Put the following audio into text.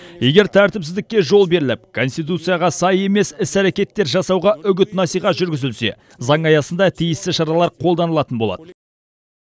егер тәртіпсіздікке жол беріліп конституцияға сай емес іс әрекеттер жасауға үгіт насихат жүргізілсе заң аясында тиісті шаралар қолданылатын болады